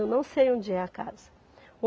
Eu não sei onde é a casa.